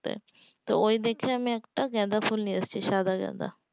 তো ওই দেখে আমি একটা গাঁদাফুল নিয়ে এসেছি সাদা গাঁদা